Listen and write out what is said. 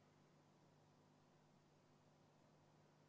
[Algust ei ole kuulda.